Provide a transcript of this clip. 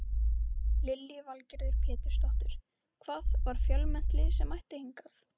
Lillý Valgerður Pétursdóttir: Hvað, var fjölmennt lið sem mætti hingað?